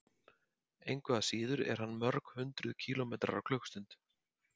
Engu að síður er hann mörg hundruð kílómetrar á klukkustund.